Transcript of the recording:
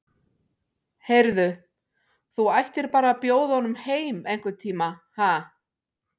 Heyrðu. þú ættir bara að bjóða honum heim einhvern tíma, ha.